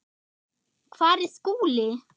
Hvar er Skúli?